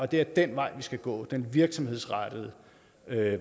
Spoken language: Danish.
det er den vej vi skal gå nemlig den virksomhedsrettede